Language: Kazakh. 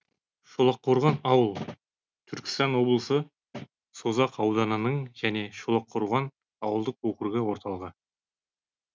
шолаққорған ауыл түркістан облысы созақ ауданының және шолаққорған ауылдық округі орталығы